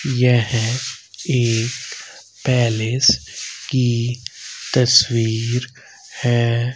यह एक पैलेस की तस्वीर है।